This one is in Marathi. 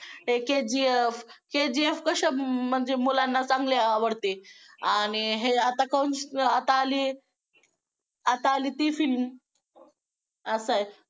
हे KGF KGF कसं म्हणजे मुलांना चांगली आवडते आणि हे आता आता आली. आता आली ती film असं आहे.